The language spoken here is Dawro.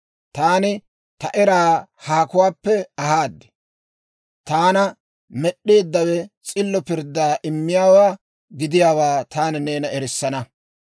Taani ta eraa haakuwaappe ahaad; taana Med'd'eeddawe s'illo pirddaa immiyaawaa gidiyaawaa taani neena erissana.